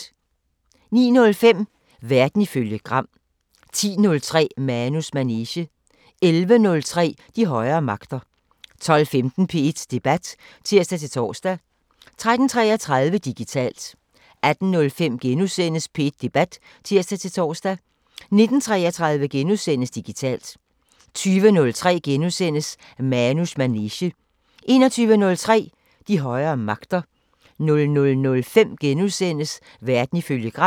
09:05: Verden ifølge Gram 10:03: Manus manege 11:03: De højere magter 12:15: P1 Debat (tir-tor) 13:33: Digitalt 18:05: P1 Debat *(tir-tor) 19:33: Digitalt * 20:03: Manus manege * 21:03: De højere magter 00:05: Verden ifølge Gram *